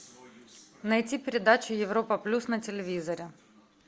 найти передачу европа плюс на телевизоре